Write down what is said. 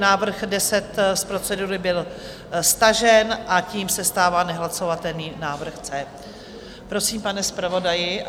Návrh 10 z procedury byl stažen a tím se stává nehlasovatelný návrh E. Prosím, pane zpravodaji.